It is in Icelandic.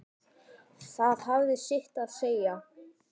Það hafði sitt að segja.